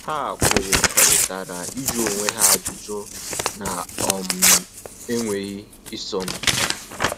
Ha kwerekọritara ịjụ onwe ha ajụjụ na um enweghị isọ mpi